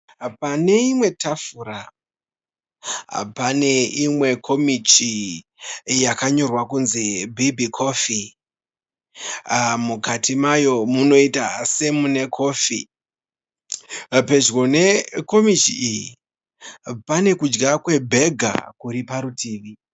Pane imwe tafura pane imwe komichi yakanyorwa kuti Biggy coffee mukati mayo munoita semune kofi, padyo pekomichi iyi pane kudya kwebhega kuri parutivi.